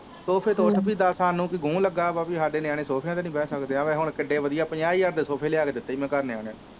ਸੋਫੇ ਤੋਂ ਉੱਠ ਵੀ ਦਾਸ ਸਾਨੂੰ ਕਿ ਗੂ ਲੱਗਾ ਵਾ ਵੀ ਸਾਡੇ ਨਿਆਣੇ ਸੋਫੇਆ ਤੇ ਨੀ ਬੈ ਸਕਦੇ ਆ ਵੇਖ ਹੁਣ ਕਿਡੇ ਵਧਿਆ ਪੰਜਾਂ ਹਜ਼ਾਰ ਦੇ ਸੋਫੇ ਲੇਆ ਕੇ ਦਿੱਤੇ ਸੀ ਮੈ ਘਰ ਨਿਆਣੇਆ ਨੂੰ